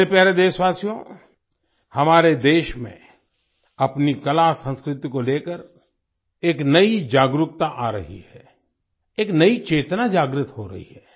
मेरे प्यारे देशवासियो हमारे देश में अपनी कलासंस्कृति को लेकर एक नई जागरूकता आ रही है एक नई चेतना जागृत हो रही है